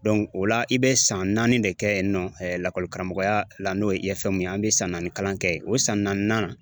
o la i bɛ san naani de kɛ yen nɔ, lakɔli karamɔgɔya la n'o ye ye an be san naani kalan kɛ. O san naani nan.